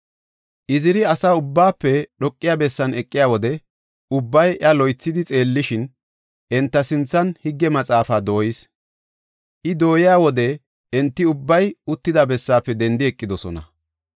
Iziri asa ubbaafe dhoqiya bessan eqiya wode ubbay iya loythidi xeellishin, enta sinthan Higge Maxaafa dooyis. I dooyiya wode enti ubbay uttida bessaafe dendi eqidosona.